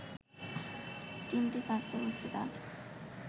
চিমটি কাটতে হচ্ছে তার